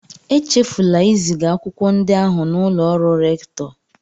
Echefula iziga akwụkwọ ndị ahụ n'ụlọ ọrụ rèktọ